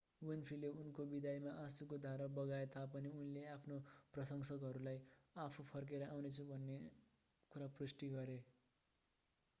विन्फ्रेले उनको विदाईमा आँशुको धारा बगाए तापनि उनीले आफ्ना प्रशंसकहरूलाई आफू फर्केर आउनेछु भन्ने कुरा स्पष्ट पारिन्